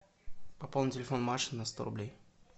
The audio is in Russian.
пополни телефон маши на сто рублей